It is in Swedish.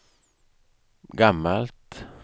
gammalt